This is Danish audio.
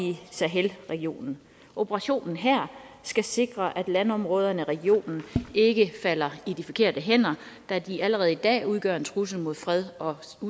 sahel regionen operationen her skal sikre at landområderne i regionen ikke falder i de forkerte hænder da de allerede i dag udgør en trussel mod fred og